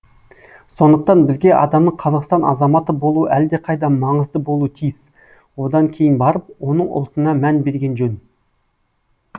сондықтан бізге адамның қазақстан азаматы болуы әлдеқайда маңызды болуы тиіс одан кейін барып оның ұлтына мән берген жөн